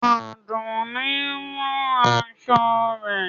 Adúnní ń rán aṣọ rẹ̀.